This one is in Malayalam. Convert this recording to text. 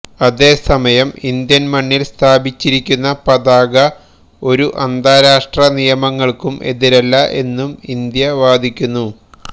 അതേ സമയം ഇന്ത്യൻ മണ്ണിൽ സ്ഥാപിച്ചിരിക്കുന്ന പതാക ഒരു അന്താരാഷ്ട്ര നിയമങ്ങൾക്കും എതിരല്ല എന്നും ഇന്ത്യ വാദിക്കുന്നു